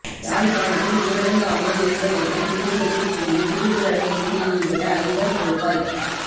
யாழ்ப்பாணத்தில் ஊடரங்கு அமுலில் இருந்த நேரத்தில் வீடுகளுக்குள் புகுந்து திருட்டு நடவடிக்கைகளில் ஈடுபட்ட ஐவர் கோப்பாய்க்